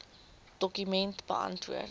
dokument beantwoord